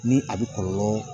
Ni a bɛ kɔlɔlɔ